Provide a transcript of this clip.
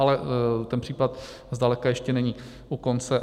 Ale ten případ zdaleka ještě není u konce.